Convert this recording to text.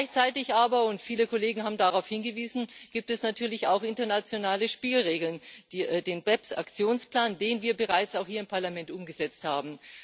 Gleichzeitig aber und viele Kollegen haben darauf hingewiesen gibt es natürlich auch internationale Spielregeln, den BEPS Aktionsplan, den wir bereits auch hier im Parlament umgesetzt haben.